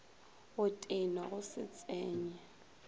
go tenwa go se tsenye